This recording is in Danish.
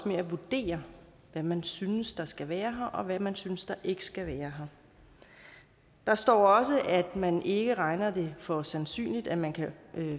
med at vurdere hvad man synes der skal være her og hvad man synes der ikke skal være her der står også at man ikke regner det for sandsynligt at man kan